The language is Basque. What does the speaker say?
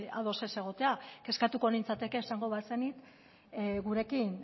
ados ez egotea kezkatuko nintzateke esango bazenit gurekin